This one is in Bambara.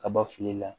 Kaba fili la